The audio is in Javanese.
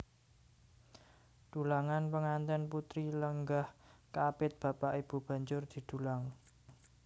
Dulangan Pengantèn putri lenggah kaapit bapak ibu banjur didulang